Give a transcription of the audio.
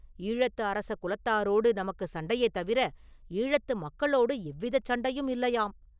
ஈழத்து அரச குலத்தாரோடு நமக்கு சண்டையே தவிர ஈழத்து மக்களோடு எவ்விதச் சண்டையும் இல்லையாம்.